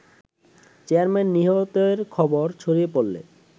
chairman নিহতের খবর ছড়িয়ে পড়লে